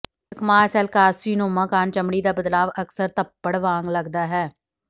ਸਕਮਾਜ cell carcinoma ਕਾਰਨ ਚਮੜੀ ਦਾ ਬਦਲਾਵ ਅਕਸਰ ਧੱਫੜ ਵਾਂਗ ਲੱਗਦਾ ਹੈ